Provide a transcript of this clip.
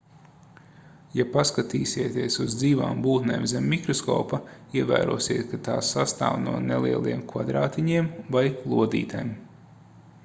ja paskatīsieties uz dzīvām būtnēm zem mikroskopa ievērosiet ka tās sastāv no nelieliem kvadrātiņiem vai lodītēm